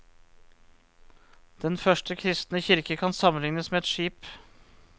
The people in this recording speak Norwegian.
Den første kristne kirke kan sammenlignes med et skip.